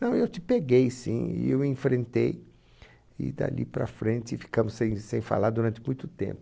Não, eu te peguei sim, eu enfrentei e dali para frente ficamos sem sem falar durante muito tempo.